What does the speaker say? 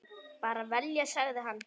Bara vel, sagði hann.